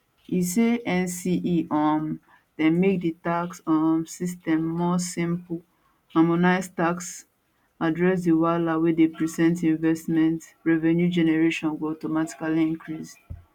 e say nce um dem make di tax um system more simple harmonise tax address di wahala wey dey precent investment revenue generation go automatically increase